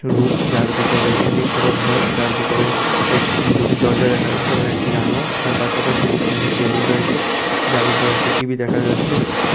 Room যার ভিতর একটি ছোট ঘর যার ভিতরে এক দুটি দরজা দেখা যাচ্ছে এবং একটি জানলা তার পাশাপাশি এখানে একটি টেবিল রয়েছে যার উপর একটি টি_ভি দেখা যাচ্ছে।